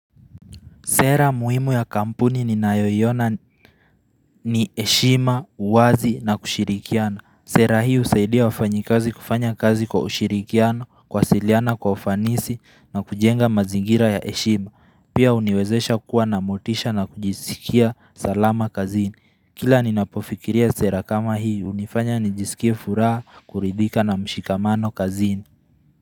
Sera muhimu ya kampuni ninayoiona ni heshima, uwazi na kushirikiana. Sera hii husaidia wafanyi kazi kufanya kazi kwa ushirikiano, kuwasiliana kwa ufanisi na kujenga mazingira ya heshima. Pia huniwezesha kuwa na motisha na kujisikia salama kazini. Kila ninapofikiria sera kama hii, hunifanya nijisikie furaha kuridika na mshikamano kazini.